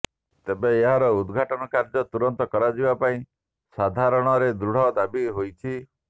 ତେବେ ଏହାର ଉଦ୍ଘାଟନ କାର୍ଯ୍ୟ ତୁରନ୍ତ କରାଯିବା ପାଇଁ ସାଧାରଣରେ ଦୃଢ଼ ଦାବି ହୋଇଛି